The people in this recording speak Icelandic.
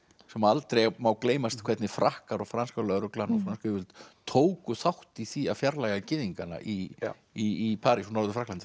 sem aldrei má gleymast hvernig Frakkar og franska lögreglan og frönsk yfirvöld tóku þátt í því að fjarlægja gyðingana í í París og Norður Frakklandi